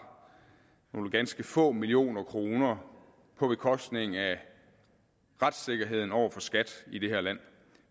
nogle ganske få millioner kroner på bekostning af retssikkerheden over for skat i det her land